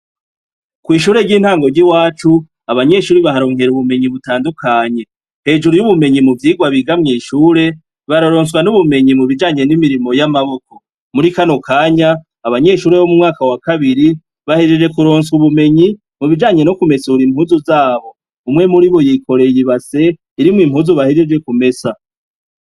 Kw'ishure ry'intango ry'i wacu abanyeshuri baharonkera ubumenyi butandukanye hejuru y'ubumenyi mu vyirwa bigamwishure baroronswa n'ubumenyi mubijanye n'imirimo y'amaboko muri kanokanya abanyeshuri bo mu mwaka wa kabiri bahejeje kuronswa ubumenyi mubijanye no kumesura impuzu zabo umwe muri bo yikoreye ibase irimwo impuzu bahejeje ku mesa.